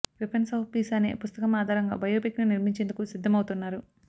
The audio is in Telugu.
వెపన్స్ ఆఫ్ పీస్ అనే పుస్తకం ఆధారంగా బయోపిక్ ను నిర్మించేందుకు సిద్ధం అవుతున్నారు